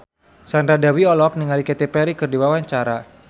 Sandra Dewi olohok ningali Katy Perry keur diwawancara